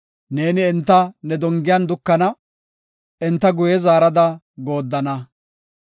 Neeni enta ne dongiyan dukana; enta guye zaarada gooddana.